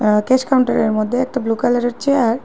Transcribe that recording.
আঃ cash কাউন্টারের মধ্যে একটা ব্লু কালারের চেয়ার ।